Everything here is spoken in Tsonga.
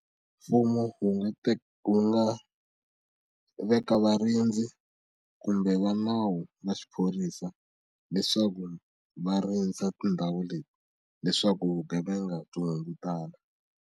Mfumo wu nga wu nga veka varindzi kumbe va nawu na xiphorisa leswaku va rindza tindhawu leti leswaku vugevenga byi hungutana.